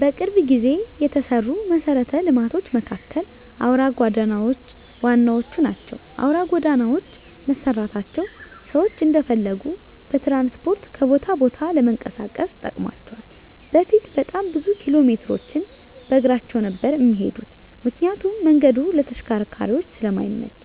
በቅርብ ጊዜ የተሰሩ መሰረተ ልማቶች መካከል አውራ ጎዳናዎች ዋነኞቹ ናቸው። አውራ ጎዳናዎች መሰራታቸው ሰዎች እንደፈለጉ በትራንስፖርት ከቦታ ቦታ ለመንቀሳቀስ ጠቅሟቸዋል በፊት በጣም ብዙ ኪሎሜትሮችን በእግራቸው ነበር እሚሄዱት ምክንያቱም መንገዱ ለተሽከርካሪዎች ስለማይመች፤